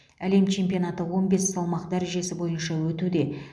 әлем чемпионаты он бес салмақ дәрежесі бойынша өтуде